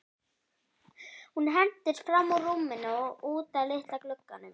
Hún hentist fram úr rúminu og út að litla glugganum.